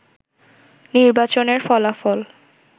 নির্বাচনের ফলাফল